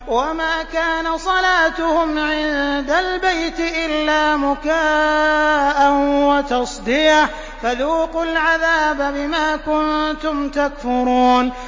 وَمَا كَانَ صَلَاتُهُمْ عِندَ الْبَيْتِ إِلَّا مُكَاءً وَتَصْدِيَةً ۚ فَذُوقُوا الْعَذَابَ بِمَا كُنتُمْ تَكْفُرُونَ